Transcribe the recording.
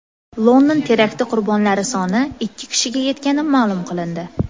London terakti qurbonlari soni ikki kishiga yetgani ma’lum qilindi.